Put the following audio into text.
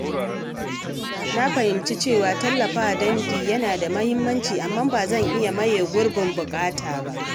Na fahimci cewa tallafawa dangi yana da muhimmanci, amma ba zai iya maye gurbin buƙatata ba.